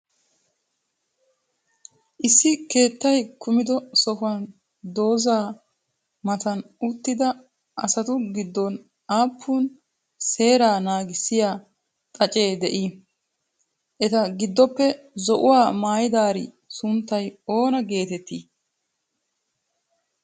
issi keettay kummiddo sohuwan dooza matan uttida asatu giddon appun seeraa naaggissiyaa xaaccee de'i? etaa giddoppe zo'uwaa maayidari sunttay oona geteetti?